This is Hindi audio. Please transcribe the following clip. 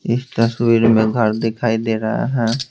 इस तस्वीर में घर दिखाई दे रहा है।